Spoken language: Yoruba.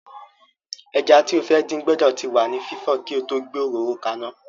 Ẹja tí o fẹ́ dín gbọ́dọ̀ ti wà ní fífọ̀ kí o tó gbé òróró ka iná.